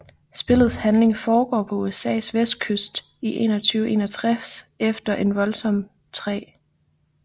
Spillets handling foregår på USAs vestkyst i 2161 efter en voldsom 3